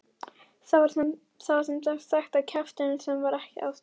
Það var sem sagt ekki kjafturinn sem var ástæðan.